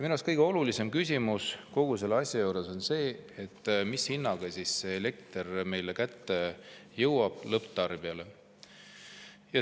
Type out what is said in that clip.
Minu arust kõige olulisem küsimus kogu selle asja juures on see, mis hinnaga elekter lõpptarbija kätte jõuab.